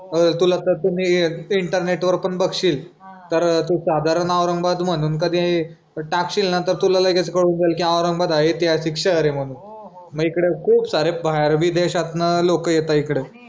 तुला त्याच मी इंटरनेट वर पण बघशील तर तू साधारण औरंगाबाद म्हणून कधी टाकशील ना तर तुला लगेच कळून जाईल की औरंगाबाद हे ऐतिहासिक शहर आहे म्हणून मग इकडे खूप सारे बाहेर बी देशातनं खूप लोक येतंय इकडं